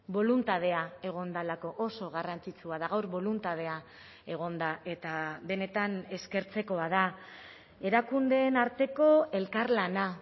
boluntadea egon delako oso garrantzitsua da gaur boluntadea egon da eta benetan eskertzekoa da erakundeen arteko elkarlana